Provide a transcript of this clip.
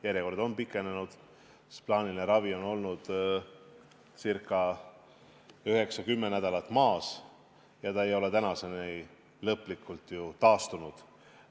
Järjekorrad on pikenenud, sest plaaniline ravi on olnud üheksa-kümme nädalat maas ja see ei ole tänaseni ju lõplikult taastunud.